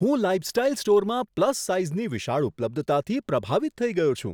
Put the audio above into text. હું લાઇફસ્ટાઇલ સ્ટોરમાં પ્લસ સાઈઝની વિશાળ ઉપલબ્ધતાથી પ્રભાવિત થઈ ગયો છું.